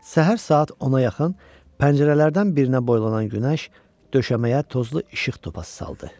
Səhər saat 10-a yaxın pəncərələrdən birinə boylanan günəş döşəməyə tozlu işıq topası saldı.